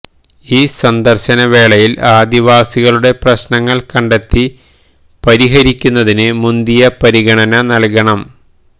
ഈ സന്ദർശന വേളകളിൽ ആദിവാസികളുടെ പ്രശ്നങ്ങൾ കെണ്ടത്തി പരിഹരിക്കുന്നതിന് മുന്തിയ പരിഗണന നൽകണം